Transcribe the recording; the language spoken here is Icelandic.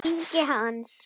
Ingi Hans.